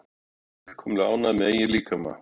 Fullkomlega ánægð með eigin líkama